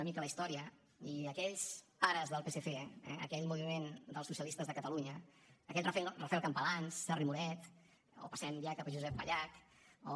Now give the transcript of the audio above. una mica la història i aquells pares del psc eh aquell moviment dels socialistes de catalunya aquell rafael campalans serra i moret o passem ja cap a josep pallach o